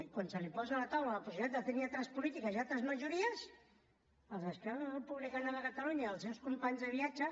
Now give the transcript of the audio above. i quan se li posa a la taula la possibilitat de tenir altres polítiques i altres majories els d’esquerra republicana de catalunya i els seus companys de viatge